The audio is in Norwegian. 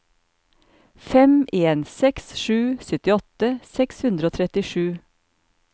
fem en seks sju syttiåtte seks hundre og trettisju